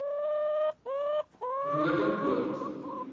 roodeport